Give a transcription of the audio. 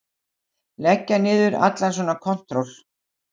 Leggja niður allan svona kontról.